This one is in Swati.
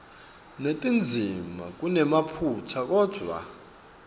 netindzima kunemaphutsa kodvwa